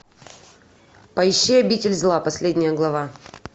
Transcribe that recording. поищи обитель зла последняя глава